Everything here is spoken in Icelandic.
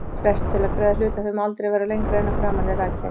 Frestur til að greiða hlutaféð má aldrei vera lengra en að framan er rakið.